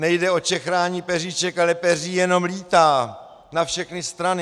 Nejde o čechrání peříček, ale peří jenom lítá na všechny strany!